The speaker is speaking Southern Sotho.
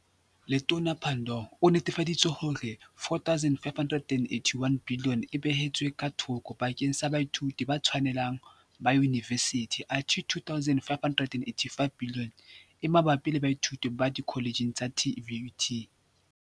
Letona Pandor o nnetefa ditse hore R4.581 biliyone e beheletswe ka thoko bakeng sa baithuti ba tshwanele hang ba yunivesithi athe R2.585 biliyone e mabapi le baithuti ba dikholetjhe tsa TVET.